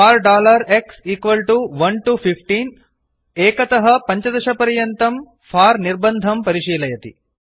for x 1 तो 15 1 तः 15 पर्यन्तं फोर निर्बन्धं परिशीलयति